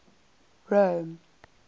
rome